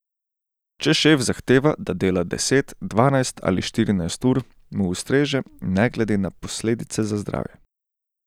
Če šef zahteva, da dela deset, dvanajst ali štirinajst ur, mu ustreže, ne glede na poledice za zdravje.